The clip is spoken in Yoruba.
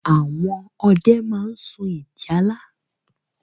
Àwọn ọdẹ máa ń sun ìjálá.